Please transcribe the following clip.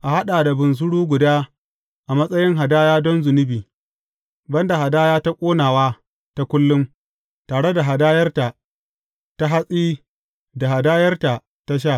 A haɗa da bunsuru guda a matsayin hadaya don zunubi, ban da hadaya ta ƙonawa ta kullum, tare da hadayarta ta hatsi da hadayarta ta sha.